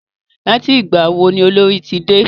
Láti ìgbà wo ni Olorì ti dé?